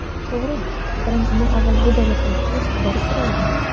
To‘g‘ri, karantindan avval bu davlatlarga tez- tez borib turardim.